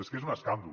és que és un escàndol